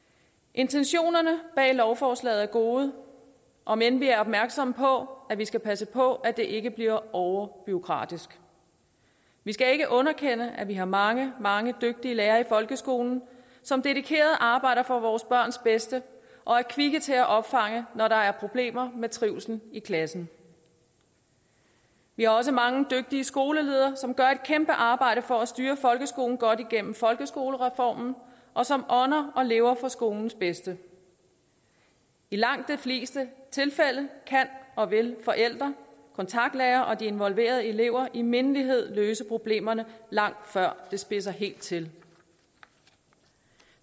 intentionerne bag lovforslaget er gode om end vi er opmærksomme på at vi skal passe på at det ikke bliver overbureaukratisk vi skal ikke underkende at vi har mange mange dygtige lærere i folkeskolen som dedikeret arbejder for vores børns bedste og er kvikke til at opfange når der er problemer med trivslen i klassen vi har også mange dygtige skoleledere som gør et kæmpe arbejde for at styre folkeskolen godt igennem folkeskolereformen og som ånder og lever for skolens bedste i langt de fleste tilfælde kan og vil forældre kontaktlærere og de involverede elever i mindelighed løse problemerne langt før det spidser helt til